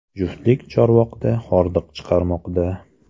Juftlik Chorvoqda hordiq chiqarmoqda.